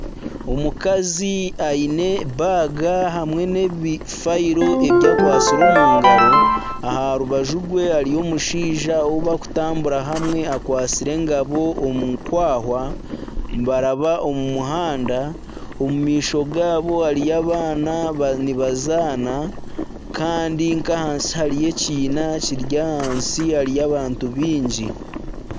Omukazi aine baaga hamwe n'ebifayiiro ebi akwatsire omu ngaro aha rubaju rwe hariho omushaija ou bakutambura hamwe akwatsire engabo omu kwahwa nibaramba omu muhanda omu maisho gaabo hariyo abaana nibazaana kandi nka ahansi hariyo ekiina kiri ahansi hariyo abantu baingi.